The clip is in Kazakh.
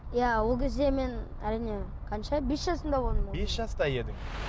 иә ол кезде мен әрине қанша бес жасымда болдым бес жаста едің